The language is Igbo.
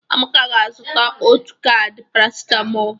Amaka ga-azụta otu kaadi parasitamol.